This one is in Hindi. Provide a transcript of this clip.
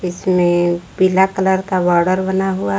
इसमें पीला कलर का बॉर्डर बना हुआ--